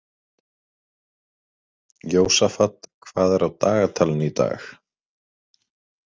Jósafat, hvað er á dagatalinu í dag?